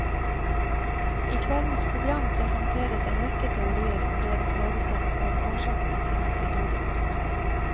I kveldens program presenteres en rekke teorier om deres levesett og om årsakene til at de døde ut.